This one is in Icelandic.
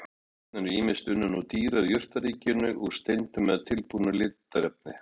Litarefnin eru ýmist unnin úr dýra- eða jurtaríkinu, úr steindum eða tilbúin litarefni.